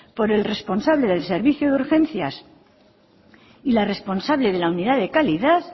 por el responsable del servicio de urgencias y la responsable de la unidad de calidad